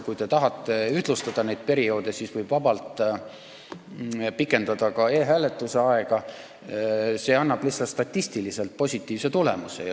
Kui te tahate neid perioode ühtlustada, siis võiks minu poolest vabalt ka e-hääletuse aega pikendada, see annaks lihtsalt statistiliselt positiivse tulemuse.